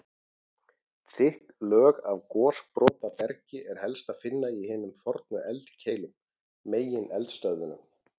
Þykk lög af gosbrotabergi er helst að finna í hinum fornu eldkeilum, megineldstöðvunum.